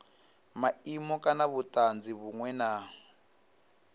maimo kana vhutanzi vhunwe na